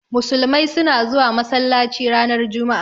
Musulmai suna zuwa masallaci ranar Juma'a.